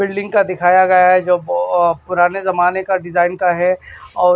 building का दिखाया गया है जो पुराने जमाने का डिजाइन का है और--